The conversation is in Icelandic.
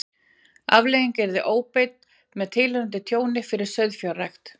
Afleiðingin yrði ofbeit með tilheyrandi tjóni fyrir sauðfjárrækt.